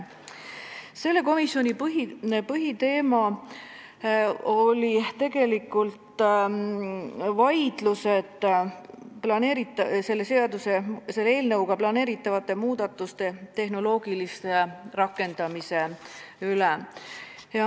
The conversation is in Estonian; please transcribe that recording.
Selle istungi põhiteema oli tegelikult vaidlus eelnõuga planeeritavate muudatuste tehnoloogilise rakendamise üle.